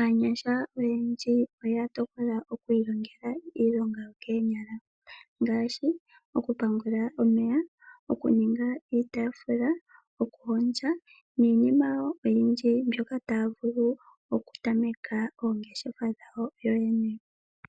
aanyasha oyendji oya tokola okwiilongitha iilonga yokoonyala ngaashi okupangela omeya , okuninga iitafula, okuhondja niinima wo oyindji mbyoka taa vulu okutameka oongeshefa dhawo yoyene.